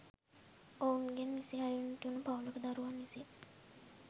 ඔවුන්ගෙන් නිසි අයුරින් ඉටුවන පවුලක දරුවන් විසින්